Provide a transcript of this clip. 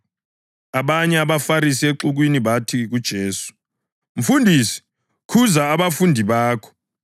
Abanye abaFarisi exukwini bathi kuJesu, “Mfundisi, khuza abafundi bakho!”